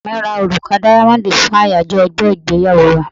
Ọkọ mi ra òrùka dáyámọ́dì fún àyájọ ọjọ́ ìgbéyàwó wa.